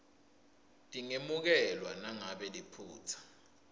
tingemukelwa nangabe liphutsa